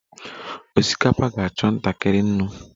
Osikapa ga-achọ ntakịrị nnu